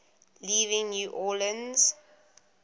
leaving new orleans